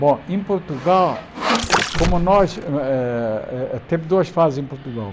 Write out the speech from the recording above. Bom, em Portugal, como nós eh eh temos duas fases em Portugal.